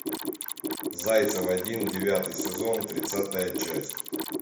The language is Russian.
зайцев один девятый сезон тридцатая часть